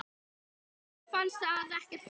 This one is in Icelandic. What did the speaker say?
Víði fannst það ekkert slæmt.